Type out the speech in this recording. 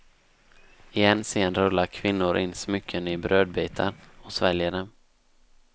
I en scen rullar kvinnor in smycken i brödbitar och sväljer dem.